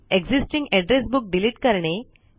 existing address book delete करणे